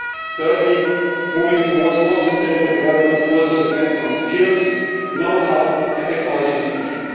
Thirdly, moving towards more sustainable development also depends on skills, know how and technology diffusion.